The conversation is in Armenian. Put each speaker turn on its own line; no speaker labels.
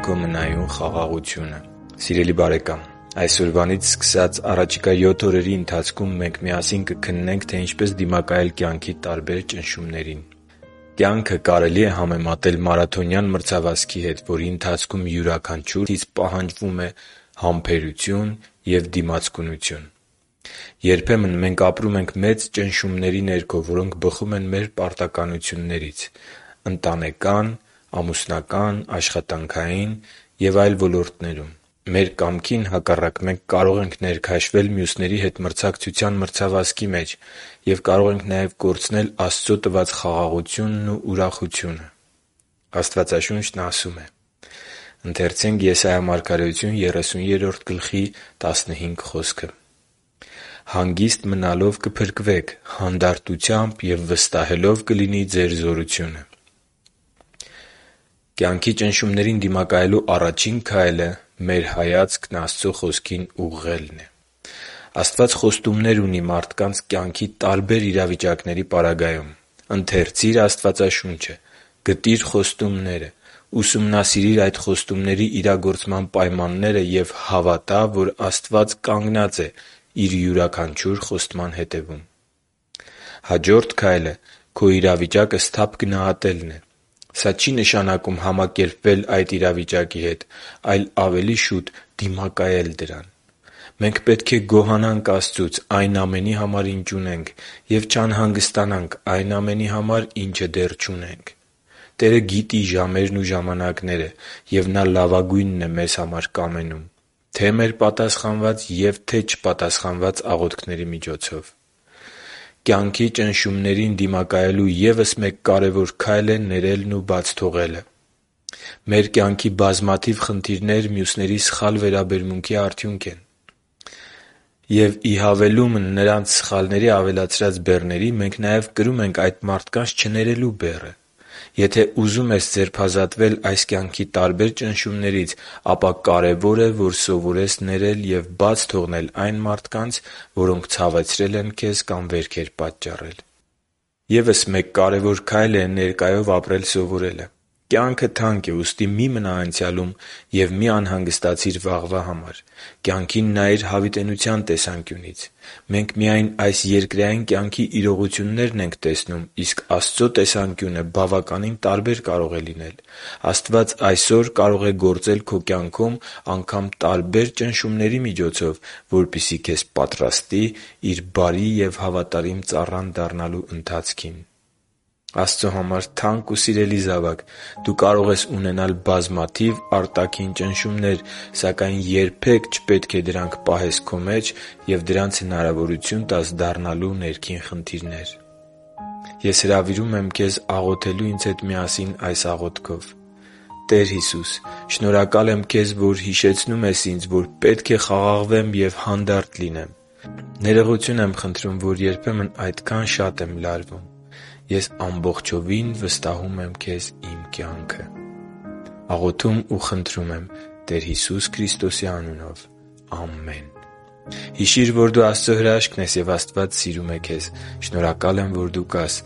քո մնայուն խաղաղությունը Սիրելի՛ բարեկամ, այսօրվանից սկսած առաջիկա յոթ օրերի ընթացքում մենք միասին կքննենք, թե ինչպես դիմակայել տարբեր ճնշումների։ Կյանքը կարելի է համեմատել մարաթոնյան մրցավազքի հետ, որի ընթացքում յուրաքանչյուր մարդուց պահանջվում է համբերություն և դիմացկունություն։ Երբեմն մենք ապրում ենք մեծ ճնշումների ներքո, որոնք բխում են մեր պարտավորություններից՝ ընտանեկան, ամուսնական, աշխատանքային և այլ ոլորտներում: Մեր կամքին հակառակ, մենք կարող ենք ներքաշվել մյուսների հետ մրցակցության մրցավազքի մեջ և կարող ենք նաև կորցնել Աստծո տված խաղաղությունն ու ուրախությունը: Աստվածաշունչն ասում է․ «․․․հանգիստ մնալով կփրկվեք, հանդարտությամբ և վստահելով կլինի ձեր զորությունը» (Եսայիա 30․15): Կյանքի ճնշումներին դիմակայելու առաջին քայլը մեր հայացքն Աստծո Խոսքին ուղղելն է։ Աստված խոստումներ ունի մարդկանց կյանքի տարբեր իրավիճակների պարագայում։ Ընթերցի՛ր Աստվածաշունչը։ Գտի՛ր խոստումները։ Ուսումնասիրի՛ր այդ խոստումների իրագործման պայմանները և հավատա՛, որ Աստված կանգնած է Իր յուրաքանչյուր խոստման հետևում։ Հաջորդ քայլը քո իրավիճակը սթափ գնահատելն է։ Սա չի նշանակում համակերպվել այդ իրավիճակի հետ, այլ ավելի շուտ՝ դիմակայել դրան: Մենք պետք է գոհանանք Աստծուց այն ամենի համար, ինչ ունենք, և չանհանգստանանք այն ամենի համար, ինչը դեռ չունենք: Տերը գիտի ժամերն ու ժամանակները, և Նա լավագույնն է մեզ համար կամենում, թե՛ մեր պատասխանված և թե՛ չպատասխանված աղոթքների միջոցով։ Կյանքի ճնշումներին դիմակայելու ևս մեկ կարևոր քայլ է ներելն ու բաց թողնելը։ Մեր կյանքի բազմաթիվ խնդիրներ մյուսների սխալ վերաբերմունքի արդյունք են։ Եվ բացի նրանց սխալների ավելացրած բեռները, մենք նաև կրում ենք այդ մարդկանց չներելու բեռը։ Եթե ուզում ես ձերբազատվել այս կյանքի տարբեր ճնշումներից, ապա կարևոր է, որ սովորես ներել ու բաց թողնել այն մարդկանց, որոնք ցավեցրել են քեզ կամ վերքեր պատճառել։ Եվս մեկ կարևոր քայլ է ներկայով ապրել սովորելը։ Կյանքը թանկ է, ուստի մի՛ մնա անցյալում և մի՛ անհանգստացիր վաղվա համար: Կյանքին նայիր հավիտենականության տեսանկյունից: Մենք միայն այս երկրային կյանքի իրողություններն ենք տեսնում։ Իսկ Աստծո տեսանկյունը բավականին տարբեր կարող է լինել։ Աստված այսօր կարող է գործել քո կյանքում անգամ տարբեր ճնշումների միջոցով, որպեսզի քեզ պատրաստի Իր բարի և հավատարիմ ծառան դառնալու ընթացքին: Աստծո համար թանկ ու սիրելի՛ զավակ, դու կարող ես ունենալ բազմաթիվ արտաքին ճնշումներ, սակայն երբե՛ք չպետք է դրանք պահես քո մեջ և դրանց հնարավորություն տաս դառնալու ներքին խնդիրներ։ Ես հրավիրում եմ քեզ աղոթելու ինձ հետ միասին այս աղոթքով․ «Տե՛ր Հիսուս, շնորհակալ եմ Քեզ, որ հիշեցնում ես ինձ, որ պետք է խաղաղվեմ ու հանդարտ լինեմ։ Ներողություն եմ խնդրում, որ երբեմն այդքա՜ն շատ եմ լարվում։ Ես ամբողջովին վստահում եմ Քեզ իմ կյանքը։ Ամե՛ն»։ Հիշի՛ր, որ դու Աստծո հրաշքն ես, և Աստված սիրում է քեզ։ Շնորհակալ եմ, որ դու կա՛ս